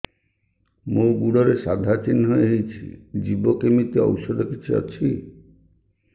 ମୋ ଗୁଡ଼ରେ ସାଧା ଚିହ୍ନ ହେଇଚି ଯିବ କେମିତି ଔଷଧ କିଛି ଅଛି